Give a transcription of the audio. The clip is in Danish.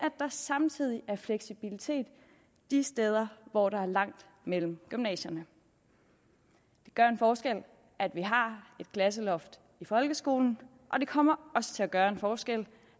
der samtidig er fleksibilitet de steder hvor der er langt mellem gymnasierne det gør en forskel at vi har et klasseloft i folkeskolen og det kommer også til at gøre en forskel